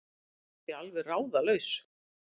spurði pabbi alveg ráðalaus.